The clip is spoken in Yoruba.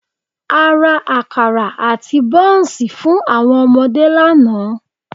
A ra àkàrà àti bọ́ńsì fún àwọn ọmọdé lánàá